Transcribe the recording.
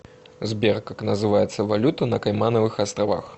сбер как называется валюта на каймановых островах